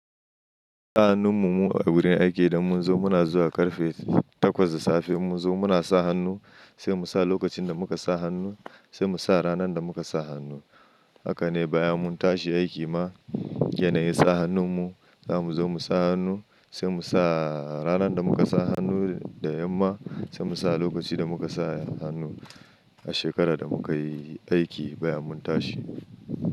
Sa hannun mu a gurin aiki idan mun zo muna zuwa karfe takwas da safe in mun zo muna sa hannu, sai mu sa lokacin da muka sa hannu, sai mu sa ranar da muka sa hannu. Haka ne bayan mun tashi aiki ma, yanayin sa hannun mu, za mu zo mu sa hannu sai mu sa ranar da muka sa hannu da yamma, sai mu sa lokaci da muka sa hannu a shekarar da muka yi aiki bayan mun tashi.